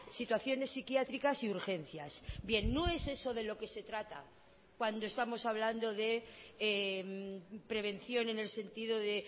situaciones psiquiátricas y urgencias bien no es eso de lo que se trata cuando estamos hablando de prevención en el sentido de